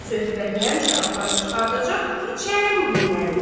söhbəti həmişə aparıb çıxardacaq keçən günlərinə.